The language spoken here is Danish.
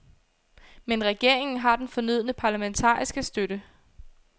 Men regeringen har den fornødne parlamentariske støtte.